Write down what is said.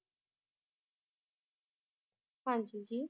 ਹਾਂਜੀ ਜੀ